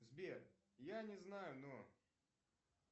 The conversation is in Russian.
сбер я не знаю но